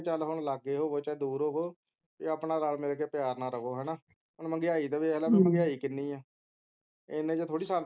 ਚਾਹੇ ਹੁਣ ਲਾਗੇ ਹੋਵੋ ਚਾਹੇ ਦੂਰ ਹੋਵੋ ਕੇ ਆਪਣਾ ਰਲ ਮਿਲਕੇ ਪਿਆਰ ਨਾਲ ਰਹੋ ਹੈਨਾ ਹੁਣ ਮਹਿੰਗਾਈ ਦਾ ਦੇਖਲੈ ਮਹਿੰਗਾਈ ਕਿੰਨੀ ਹੈ ਇੰਨੇ ਚ ਥੋੜੇ ਸਰਦਾ ਹੈ